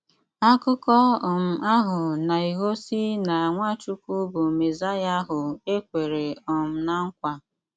Ákụkọ́ um áhụ́ na-éghósí ná Nwáchúkwú bụ́ Mésáyá áhụ é kwèrè um ná nkwà.